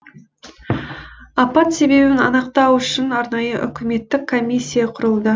апат себебін анықтау үшін арнайы үкіметтік комиссия құрылды